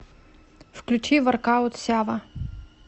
включи воркаут сява